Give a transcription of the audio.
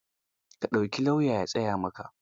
Ka ɗauki lauya ya tsaya maka.